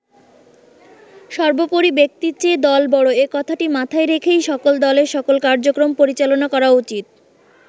সবোর্পরি ব্যক্তির চেয়ে দল বড় এ কথাটি মাথায় রেখেই সকল দলের সকল কার্যক্রম পরিচালনা করা উচিত।